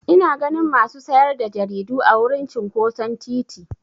Ina ganin masu sayar da jaridu a wurin cinƙoson titi.